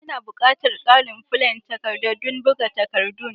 Ina bukatan ƙarin flen takardadon buga takaddun.